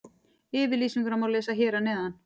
Yfirlýsinguna má lesa hér að neðan.